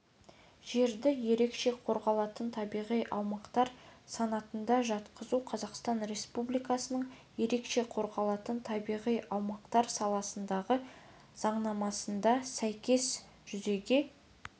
жерді ерекше қорғалатын табиғи аумақтар санатына жатқызу қазақстан республикасының ерекше қорғалатын табиғи аумақтар саласындағы заңнамасына сәйкес жүзеге